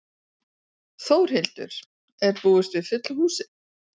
Þórhildur, er búist við fullu húsi?